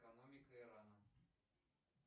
экономика ирана